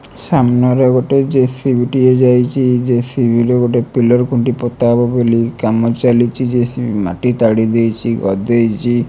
ସାମ୍ନାରେ ଗୋଟେ ଜେସିବି ଟିଏ ଯାଇଚି ଜେସିବି ର ଗୋଟେ ପିଲର୍ ଖୁଣ୍ଟି ପୋତାହେବ ବୋଲି କାମ ଚାଲିଚି ଜେସିବି ମାଟି ତାଡ଼ି ଦେଇଚି ଗଦେଇଚି।